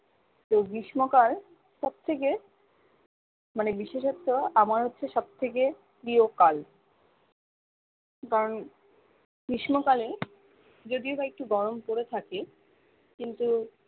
গ্রীষ্ম কাল সবথেকে মানে বিশেষত্ব আমার হচ্ছে সবথেকে প্রিয় কাল কারণ গ্রীষ্ম কালে যদিও বা একটু গরম পরে থাকে কিন্তু